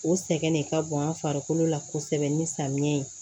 O sɛgɛn de ka bon an farikolo la kosɛbɛ ni samiya ye